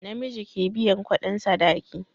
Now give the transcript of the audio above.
Namiji ke biyan kudin sadaki